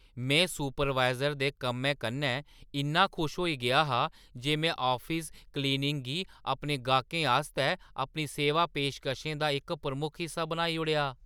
में सुपरवाइज़र दे कम्मै कन्नै इन्ना खुश होई गेआ हा जे में आफिस क्लीनिंग गी अपने गाह्कें आस्तै अपनी सेवा पेशकशें दा इक प्रमुख हिस्सा बनाई ओड़ेआ।